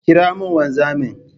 Ƙira mun wanzamin!